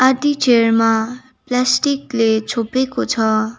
आदी चेयर मा प्लास्टिक ले छोपेको छ।